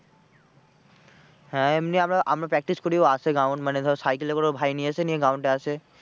হ্যাঁ এমনি আমরা আমরা practice করি ও আসে ground মানে ধর সাইকেলে করে ওর ভাই নিয়ে আসে, নিয়ে ground এ আসে।